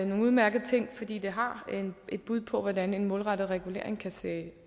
nogle udmærkede ting fordi det har et bud på hvordan en målrettet regulering kan se